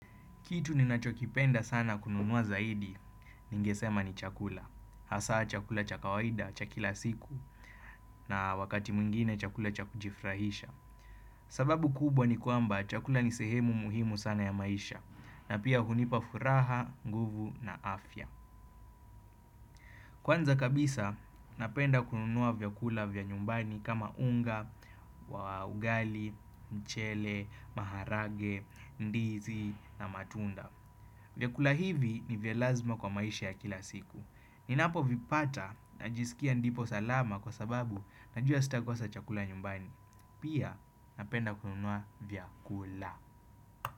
Kitu ninachokipenda sana kununua zaidi ningesema ni chakula. Hasa chakula cha kawaida, cha kila siku na wakati mwingine chakula cha kujifurahisha. Sababu kubwa ni kwamba chakula ni sehemu muhimu sana ya maisha na pia hunipa furaha, nguvu na afya. Kwanza kabisa napenda kununua vyakula vya nyumbani kama unga, ugali, mchele, maharage, ndizi na matunda. Vyakula hivi ni vya lazima kwa maisha ya kila siku. Ninapo vipata na jisikia ndipo salama kwa sababu najua sitakosa chakula nyumbani. Pia napenda kununua vyakula.